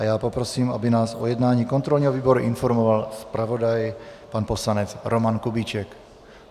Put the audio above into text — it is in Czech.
A já poprosím, aby nás o jednání kontrolního výboru informoval zpravodaj pan poslanec Roman Kubíček.